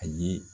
A ye